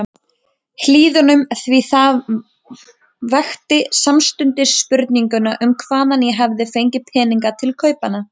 Hlíðunum, því það vekti samstundis spurninguna um hvaðan ég hefði fengið peninga til kaupanna.